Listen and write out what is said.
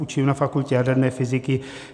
Učím na fakultě jaderné fyziky.